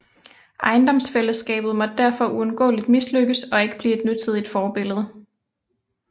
Ejendomsfællesskabet måtte derfor uundgåeligt mislykkes og ikke blive et nutidigt forbillede